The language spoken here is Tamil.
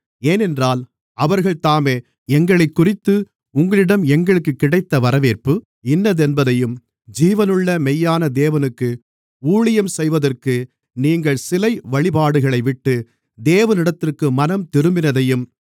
ஏனென்றால் அவர்கள்தாமே எங்களைக்குறித்து உங்களிடம் எங்களுக்குக் கிடைத்த வரவேற்பு இன்னதென்பதையும் ஜீவனுள்ள மெய்யான தேவனுக்கு ஊழியம் செய்வதற்கு நீங்கள் சிலை வழிபாடுகளைவிட்டு தேவனிடத்திற்கு மனந்திரும்பினதையும்